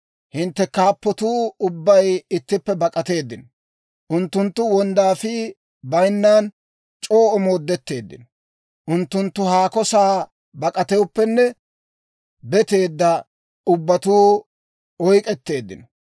Hintte kaappatuu ubbay ittippe bak'ateeddino; unttunttu wonddaafii bayinan c'oo omoodetteeddino; unttunttu haako sa'aa bak'atooppenne beetteedda ubbatuu oyk'k'etteeddino.